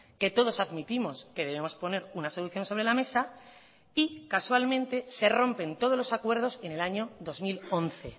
que todos admitimos que debemos poner una solución sobre la mesa y casualmente se rompen todos los acuerdos en el año dos mil once